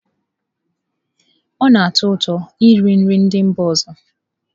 Ọ na-atọ ụtọ iri nri ndị mba ọzọ.